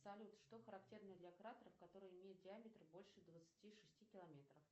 салют что характерно для кратеров которые имеют диаметр больше двадцати шести километров